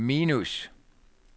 minus